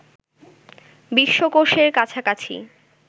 বিশ্বকোষের কাছাকাছি